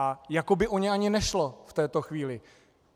A jako by o ně ani nešlo v této chvíli.